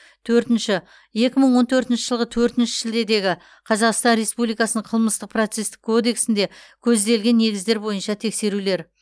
төртінші екі мың он төртінші жылғы төртінші шілдедегі қазақстан республикасының қылмыстық процестік кодексінде көзделген негіздер бойынша тексерулер